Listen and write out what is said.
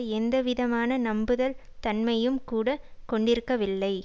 எந்த விதமான நம்புதல் தன்மையையும் கூட கொண்டிருக்கவில்லை